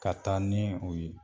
Ka taa ni o ye.